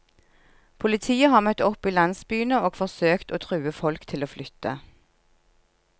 Politiet har møtt opp i landsbyene og forsøkt å true folk til å flytte.